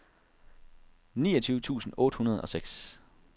niogtyve tusind otte hundrede og seks